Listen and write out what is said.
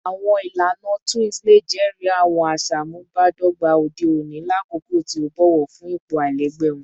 Awọn ilana twins le jẹri awọn aṣamubadọgba ode oni lakoko ti o bọwọ fun ipo alailẹgbẹ wọn